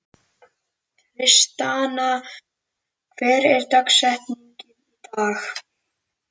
Tristana, hver er dagsetningin í dag?